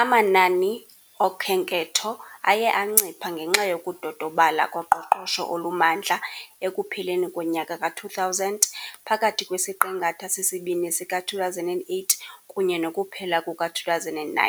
Amanani oKhenketho aye ancipha ngenxa yokudodobala koqoqosho olumandla ekupheleni konyaka ka-2000 phakathi kwesiqingatha sesibini sika-2008 kunye nokuphela kuka-2009,